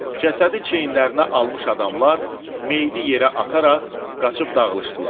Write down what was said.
Cəsədi çiyninə almış adamlar meydi yerə ataraq qaçıb dağılışdılar.